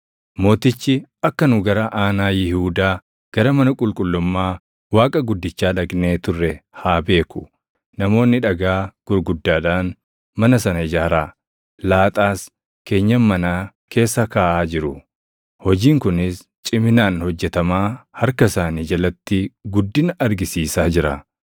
Mootichi akka nu gara aanaa Yihuudaa gara mana qulqullummaa Waaqa guddichaa dhaqnee turre haa beeku. Namoonni dhagaa gurguddaadhaan mana sana ijaaraa, laaxaas keenyan manaa keessa kaaʼaa jiru. Hojiin kunis ciminaan hojjetamaa harka isaanii jalatti guddina argisiisaa jira.